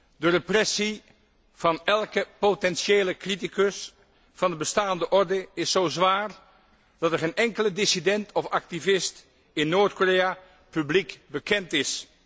Mevrouw de Voorzitter, de repressie van elke potentiële criticus van de bestaande orde is zo zwaar dat er geen enkele dissident of activist in Noord Korea publiek bekend is.